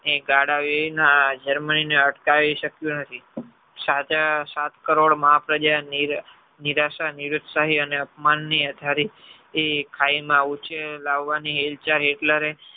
એ ગાડા germany ને અટકાવી શક્યું નથી સાતે સાત કરોડ મહા પ્રજા નિરાશા નિરુકસાહી અને અપમાન ની થી ખાય માં ઉંચે લેવાની ની Hitler રે